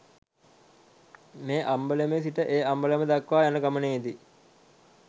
මේ අම්බලමේ සිට ඒ අම්බලම දක්වා යන ගමනේ දී